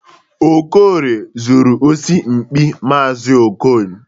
Okorie zuru osi mkpị maazi Okon.